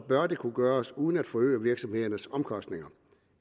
bør det kunne gøres uden at forøge virksomhedernes omkostninger